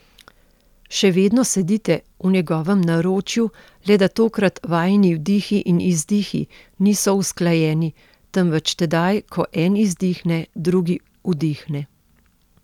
Še vedno sedite v njegovem naročju, le da tokrat vajini vdihi in izdihi niso usklajeni, temveč tedaj, ko en izdihne, drugi vdihne.